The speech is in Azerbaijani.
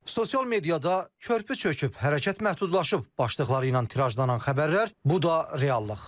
Sosial mediada körpü çöküb, hərəkət məhdudlaşıb başlığı ilə tirajlanan xəbərlər, bu da reallıq.